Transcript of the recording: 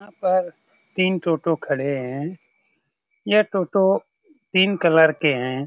यहाँ पर तीन टोटो खड़े है। यहाँ टोटो तीन कलर के है।